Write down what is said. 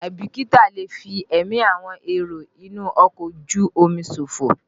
Àìbìkítà lè fi ẹ̀mí àwọn èrò inú ọkọ̀ ojú omi ṣòfò.